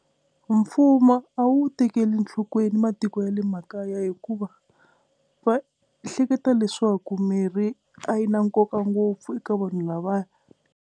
Mfumo a wu tekeli enhlokweni matiko ya le makaya hikuva va hleketa leswaku mirhi a yi na nkoka ngopfu eka vanhu lavaya.